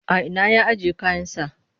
A ina ya ajiye kayansa?